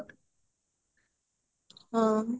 ହଁ